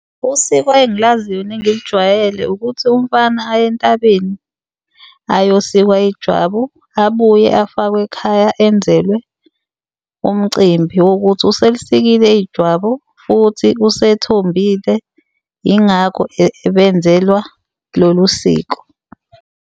Usiko engilaziyo nengilijwayele ukuthi umfana aye entabeni ayosika ijwabu abuye afakwe ekhaya enzelwe umcimbi wokuthi uselisikile ijwabu, futhi usethombile yingakho ebenzelwa lolu siko.